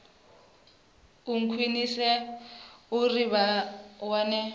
u khwinisea uri vha wane